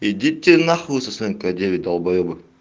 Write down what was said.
идите на хуй со своим к девять долбаебы